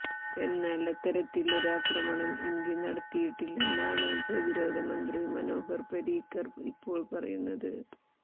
എന്നാൽ അത്തരത്തിൽ ഒരാക്രമണം ഇന്ത്യ നടത്തിയിട്ടില്ലെന്നാണ് പ്രതിരോധ മന്ത്രി മനോഹർ പരീക്കർ ഇപ്പോൾ പറയുന്നത്